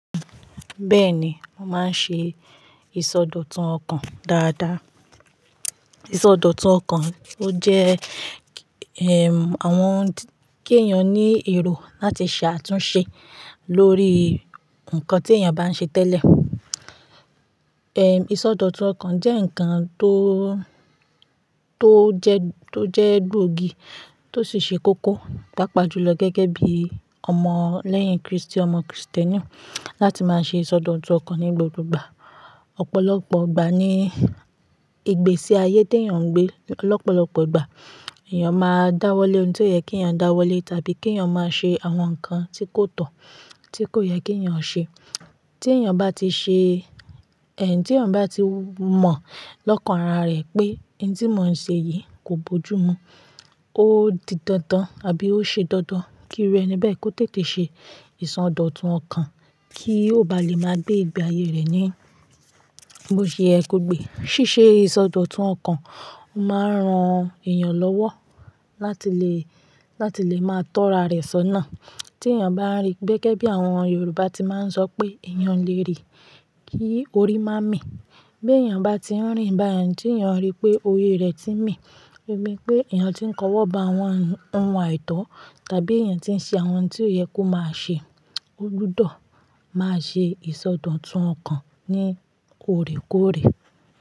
Bẹ́ẹ̀ni, mo máa ń ṣe ìsọdọ̀tun ọkàn dáadáa. Ìsọdọ̀tun ọkàn ó jẹ́, àwọn kí eeyan ní èrò láti ṣe àtúnṣe lórí nǹkan tí èèyàn bá ń ṣe tẹ́lẹ̀. Ìsọdọ̀tun ọkàn jẹ́ ǹkan tó, tó jẹ́, tó jẹ́ gbógi tó sì ṣe kókó, papa jùlọ gẹ́gẹ́ bí ọmọ lẹ́yìn Kristi, ọmọ Kristẹni láti máa ṣe ìsọdọ̀tun ọkàn ní gbogbo ìgbà. Ọ̀pọ̀lọpọ̀ ìgbà ní, ìgbésí ayé tí èèyàn ń gbé, lọ́pọ̀lọpọ̀ ìgbà, èèyàn máa dáwọ́lẹ́ ohun ti o yẹ kí èèyàn dáwọ́lẹ́ tàbí kí èèyàn máa ṣe àwọn nǹkan tí kò tọ́, tí kò yẹ kí èèyàn ṣe. Tí èèyàn bá ti ṣe, tí èèyàn bá ti mọ̀ lọ́kàn ara rẹ̀ pé n tí mò ń ṣe yìí kò bójú mu, ó di dandan àbí ó ṣe dandan kí irú ẹni bẹ́ẹ̀ kó tètè ṣe ìsọdọ̀tun ọkàn kí ó bá lè máa gbé ìgbé ayé rẹ̀ ní bó ṣe ye ko gbé. Síṣe ìsọdọ̀tun ọkàn máa ń ran èèyàn lọ́wọ́ láti lè, láti lè máa tọ́ra rẹ̀ sọ́nà. Tí èèyàn bá ń rí, gẹ́gẹ́ bí àwọn Yorùbá tí máa ń sọ pé èèyàn o lérì kí orí má mí. Bí èèyàn bá ti ń rìn bá yẹn, tí èèyàn rí pé orí rẹ̀ ti ń mì, o ni pé èèyàn tí ń kọ́wọ́ ba àwọn ohun àìtọ́ tàbí èèyàn tí ń ṣe àwọn ohun tí ò yẹ kó máa ṣe, ó gbudo máa ṣe ìsọdọ̀tun ọkàn ní òrékórè.